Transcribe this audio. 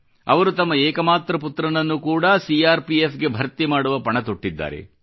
ಅವರು ತಮ್ಮ ಏಕಮಾತ್ರ ಪುತ್ರನನ್ನು ಕೂಡಾ ಸಿ ಆರ್ ಪಿ ಎಫ್ ಗೆ ಭರ್ತಿ ಮಾಡುವ ಪಣ ತೊಟ್ಟಿದ್ದಾರೆ